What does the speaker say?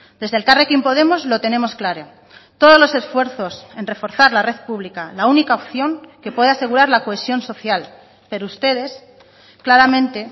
desde elkarrekin podemos lo tenemos claro todos los esfuerzos en reforzar la red pública la única opción que puede asegurar la cohesión social pero ustedes claramente